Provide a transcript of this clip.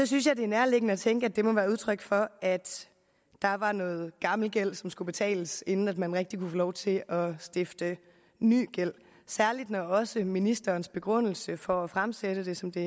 synes jeg det er nærliggende at tænke at det må være udtryk for at der var noget gammel gæld som skulle betales inden man rigtig kunne få lov til at stifte ny gæld og særlig også når ministerens begrundelse for at fremsætte det som det